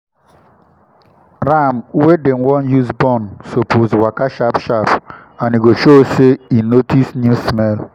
ram wey dem wan use born suppose waka sharp sharp and e go show say e notice new smell